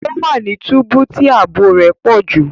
O wa ní túbú tí ààbò rẹ pọju